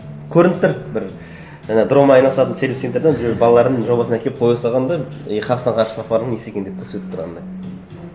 көрініп тұр бір ана дронмен айналысатын сервис центрдан біреу балаларының жобасын әкеліп қоя салған да и қасына ғарыш сапарының несі екен деп көрсетіп тұр анандай